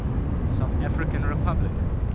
south african republic